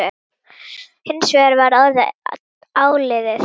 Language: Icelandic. Hins vegar var orðið áliðið.